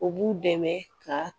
U b'u dɛmɛ ka